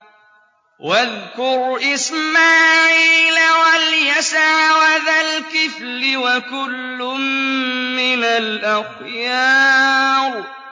وَاذْكُرْ إِسْمَاعِيلَ وَالْيَسَعَ وَذَا الْكِفْلِ ۖ وَكُلٌّ مِّنَ الْأَخْيَارِ